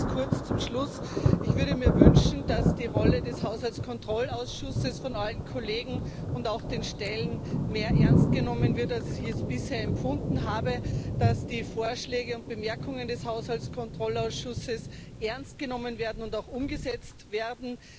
Nur ganz kurz zum Schluss Ich würde mir wünschen, dass die Rolle des Haushaltskontrollausschusses von allen Kollegen und auch den Stellen mehr ernst genommen wird, als ich es bisher empfunden habe, dass die Vorschläge und Bemerkungen des Haushaltskontrollausschusses ernst genommen werden und auch umgesetzt werden.